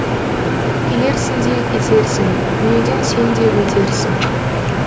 келерсің де кетерсің дүниеден сен де өтерсің